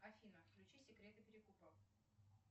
афина включи секреты перекупов